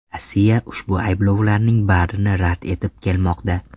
Rossiya ushbu ayblovlarning barini rad etib kelmoqda.